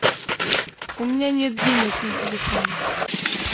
у меня нет денег на телефоне